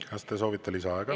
Kas te soovite lisaaega?